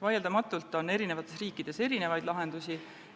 Vaieldamatult on eri riikides erinevaid lahendusi.